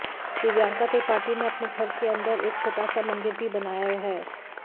दिव्यांका त्रिपाठी ने अपने घर के अंदर एक छोटा सा मंदिर भी बनाया है